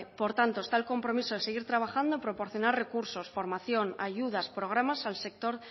por tanto está el compromiso de seguir trabajando proporcionar recursos formación ayudas programas al sector